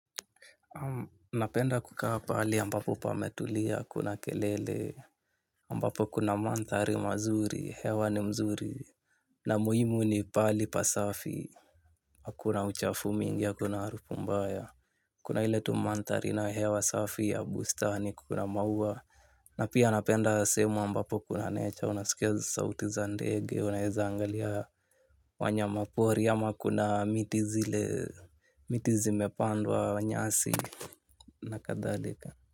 Napenda kukaa pahali ambapo pametulia hakuna kelele ambapo kuna mandhari mazuri, hewa ni mzuri. Na muhimu ni pahali pasafi. Hakuna uchafu mingi, hakuna harufu mbaya. Kuna ile tu mandhari na hewa safi ya bustani kuna maua. Na pia napenda sehemu ambapo kuna nature, unasikia sauti za ndege, unaweza angalia wanyama pori ama kuna miti zile, miti zimepandwa nyasi na kadhalika.